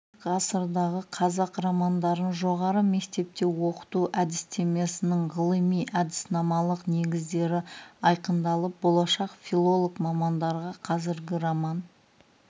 егер ғасырдағы қазақ романдарын жоғары мектепте оқыту әдістемесінің ғылыми-әдіснамалық негіздері айқындалып болашақ филолог мамандарға қазіргі роман